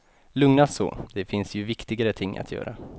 Lugnast så, det finns ju viktigare ting att göra.